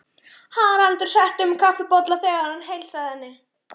Haraldur setti um kaffibolla þegar hann heilsaði henni.